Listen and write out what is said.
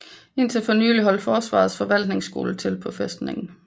Indtil for nylig holdt Forsvarets forvaltningsskole til på fæstningen